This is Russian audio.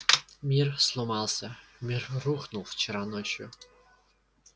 мир сломался мир рухнул вчера ночью